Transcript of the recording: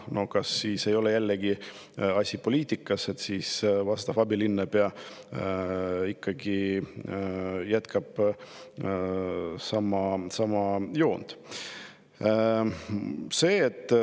No kas asi ei ole poliitikas, kui abilinnapea ikkagi jätkab sama joont?